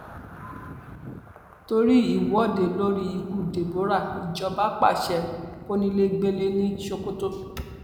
torí ìwọde lórí ikú deborah ìjọba pàṣẹ kọnilẹgbẹlẹ ní sokoto